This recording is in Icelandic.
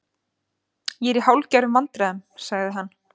Ég er í hálfgerðum vandræðum- sagði hann.